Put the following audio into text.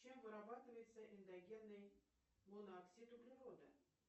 чем вырабатывается эндогенный монооксид углерода